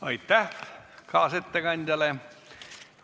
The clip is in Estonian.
Aitäh kaasettekandjale!